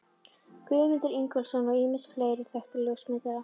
Guðmund Ingólfsson og ýmsa fleiri þekkta ljósmyndara.